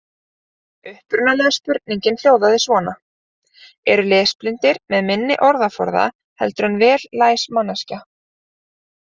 Upprunalega spurningin hljóðaði svona: Eru lesblindir með minni orðaforða heldur en vel læs manneskja?